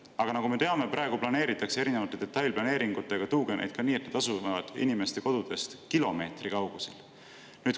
Aga nagu me teame, praegu planeeritakse erinevate detailplaneeringutega tuugeneid ka nii, et nad asuvad inimeste kodudest kilomeetri kaugusel.